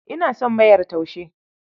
Ina son mayar taushe.